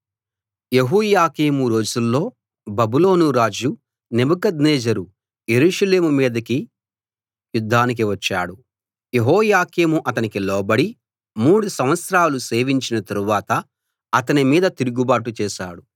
యెహోయాకీము రోజుల్లో బబులోను రాజు నెబుకద్నెజరు యెరూషలేము మీదకి యుద్ధానికి వచ్చాడు యెహోయాకీము అతనికి లోబడి మూడు సంవత్సరాలు సేవించిన తరువాత అతని మీద తిరుగుబాటు చేశాడు